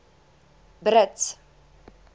brits